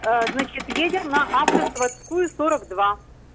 а значит едем на автозаводскую сорок два